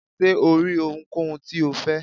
ṣe o ri ohúnkohún ti o fẹ?